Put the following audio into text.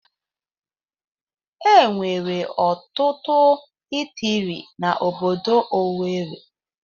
Enwere ọtụtụ itiri na ọbọdọ Owerri.